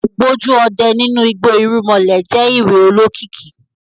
Ògbójú ọdẹ nínú igbó irúnmalẹ̀ je ìwé olokiki